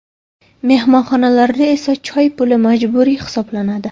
Mehmonxonalarda esa choy puli majburiy hisoblanadi.